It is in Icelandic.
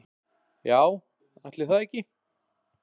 Já, ætli það ekki.